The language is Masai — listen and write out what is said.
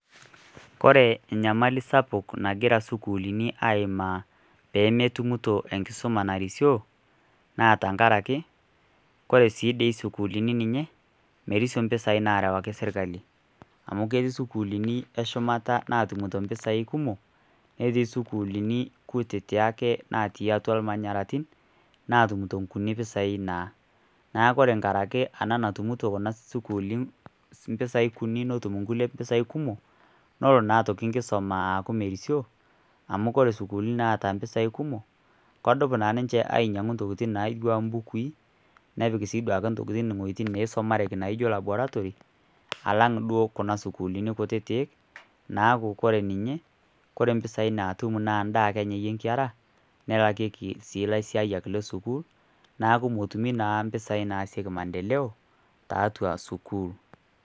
Ore enyamali sapuk nagira isukuulini aimaa peemetumito enkisuma narisio naa tenkaraki ore sii dii isukuulini merisio impisai naarewaki sirkali. Amu ketii isukuulini eshumata natumito impisai kumok, netii isukuulini kutiti ake natumito ilmanyaratin natumito nkuni pisai naa. Neeku ore nkarika ena natumito isukuuli impisai kuni netumito nkulie mpisai kumok, nelo naa aitoki nkisuma aaku merisio amu ore sukuuli naata mpisai kumok kedup naa ninje ainyiangu ntokitin naijo mbukui, nepik duake wojitin naisumareki naijo laboratory alang' duo kuna sukuulini kutiti naaku ore ninje ore mpisai naatum naa daa anyayie nkera nelakieki sii lasiayiak le sukuul neeku metumi naa mpisai naasieki maendeleo tiatua sukuul.